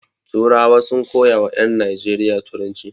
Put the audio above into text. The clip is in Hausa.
Turawa sun koya wa ƴan Najeriya turanci.